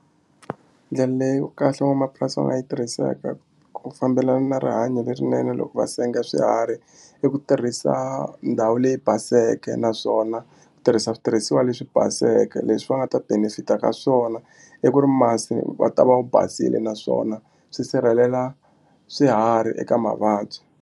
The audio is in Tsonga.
Ndlela leyo kahle van'wamapurasi va nga yi tirhiseka ku fambelana na rihanyo lerinene loko va senga swiharhi i ku tirhisa ndhawu leyi baseke naswona ku tirhisa switirhisiwa leswi baseke leswi va nga ta benefit-a ka swona i ku ri masi va ta va wu basile naswona swi sirhelela swiharhi eka mavabyi.